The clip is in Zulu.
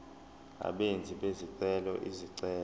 abenzi bezicelo izicelo